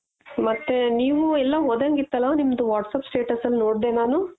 ಮತ್ತೆ ನೀವು ಎಲ್ಲೋ ಹೋದಂಗಿತ್ತಲ ನಿಮ್ದು whatsapp status ಅಲ್ಲಿ ನೋಡ್ದೆ ನಾನು